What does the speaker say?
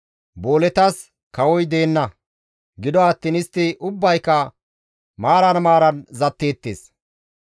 Booletas kawoy deenna; gido attiin istti ubbayka maaran maaran zatteettes.